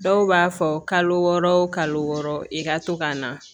Dɔw b'a fɔ kalo wɔɔrɔ o kalo wɔɔrɔ i ka to ka na